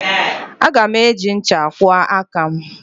Aga m eji ncha kwụọ aka m.